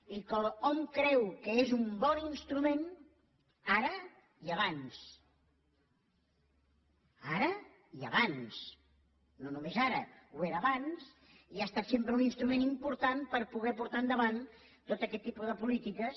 i que hom creu que és un bon instrument ara i abans ara i abans no només ara ho era abans i ha estat sempre un instrument important per poder portar endavant tot aquest tipus de polítiques